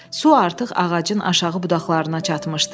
Su artıq ağacın aşağı budaqlarına çatmışdı.